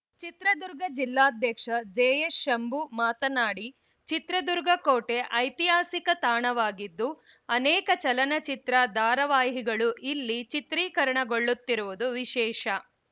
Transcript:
ಚಿತ್ರದುರ್ಗ ಜಿಲ್ಲಾಧ್ಯಕ್ಷ ಜೆಎಸ್‌ಶಂಭು ಮಾತನಾಡಿ ಚಿತ್ರದುರ್ಗ ಕೋಟೆ ಐತಿಹಾಸಿಕ ತಾಣವಾಗಿದ್ದು ಅನೇಕ ಚಲನಚಿತ್ರ ಧಾರಾವಾಹಿಗಳು ಇಲ್ಲಿ ಚಿತ್ರೀಕರಣಗೊಳ್ಳುತ್ತಿರುವುದು ವಿಶೇಷ